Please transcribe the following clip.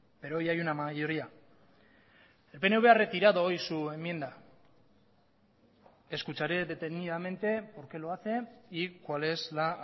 pero hoy hay una mayoría el pnv ha retirado hoy su enmienda escucharé detenidamente por qué lo hace y cual es la